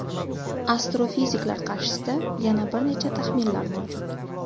Astrofiziklar qarshisida yana bir necha taxminlar mavjud.